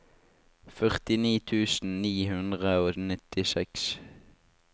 førtini tusen ni hundre og nittiseks